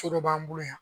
So dɔ b'an bolo yan